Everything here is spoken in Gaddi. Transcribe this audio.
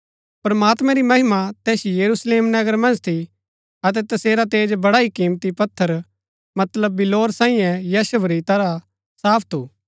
प्रमात्मैं री महिमा तैस यरूशलेम नगर मन्ज थी अतै तसेरा तेज बड़ा ही किमती पत्थर मतलब बिल्लौर सांईये यशब री तरह साफ थू